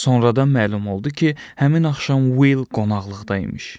Sonradan məlum oldu ki, həmin axşam Will qonaqlıqda imiş.